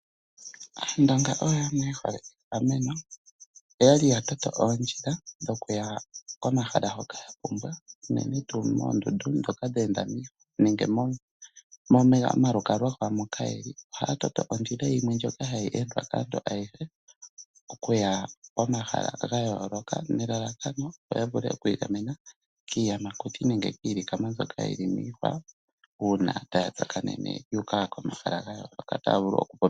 Aandonga oyo yamwe ye hole egameno, oya li ya toto oondjila dhokuya komahala hoka ya pumbwa unene tuu moondundu ndhoka dhe enda miihwa nege moomalukalwa gawo moka ye li . Ohaya toto ondjila yimwe ndjoka hayi endwa kaantu ayehe okuya komahala ga yooloka nelalakano ya vule oku igamena kiiyamakuti nenge kiilikama mbyoka yi li miihwa uuna taya tsakanene yu uka komahala ga yooloka.